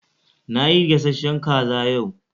Nayi gashashen kaza yau.